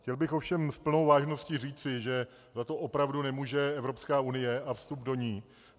Chtěl bych ovšem s plnou vážností říci, že za to opravdu nemůže Evropská unie a vstup do ní.